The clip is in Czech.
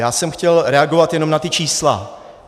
Já jsem chtěl reagovat jenom na ta čísla.